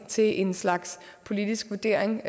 til en slags politisk vurdering